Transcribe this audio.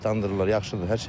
Yaxşıdır, hər şey yaxşıdır.